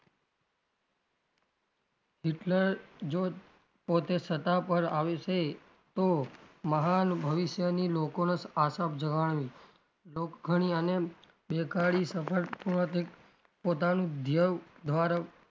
Hitler જો પોતે સત્તા પર આવશે તો મહાન ભવિષ્ય લોકો ને આશા જણાવી લોખનયાને બેકારી સફળ પોતાનું દ્ય્વ ધ્વારા,